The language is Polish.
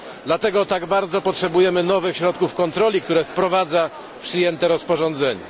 Dlatego tak bardzo potrzebujemy nowych środków kontroli, które wprowadza przyjęte rozporządzenie.